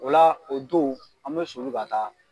O la o don an bɛ soli ka taa